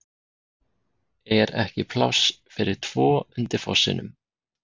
ER EKKI PLÁSS FYRIR TVO UNDIR FOSSINUM?